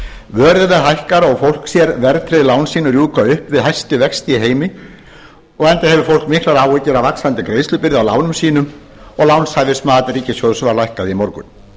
vöruverð hækkar og fólks sér verðtryggð lán sín rjúka upp við hæstu vexti í heimi enda hefur fólk miklar áhyggjur af vaxandi greiðslubyrði af lánum sínum og lánhæfismat ríkissjóðs var lækkað í morgun